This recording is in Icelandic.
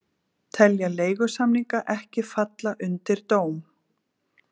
Telja leigusamninga ekki falla undir dóm